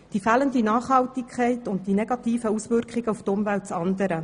Die fehlende Nachhaltigkeit und die negativen Auswirkungen auf die Umwelt das andere.